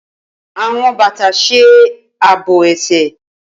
Awọn bata ṣe aabo ẹsẹ.